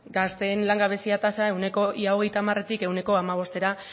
gazteen langabezia tasa ia hogeita hamaretik ehuneko hamabostera